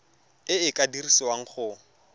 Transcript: e e ka dirisiwang go